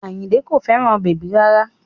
Àyìnkẹ́ kò fẹ́ràn bèbí rárá